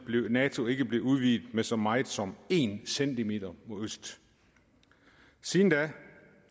nato ikke blive udvidet med så meget som en centimeter mod øst siden da